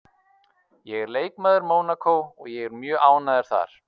Ég er leikmaður Mónakó og ég er mjög ánægður þar